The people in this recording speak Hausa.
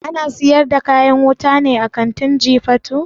Ana siyar da kayan wuta ne a kantin jifatu?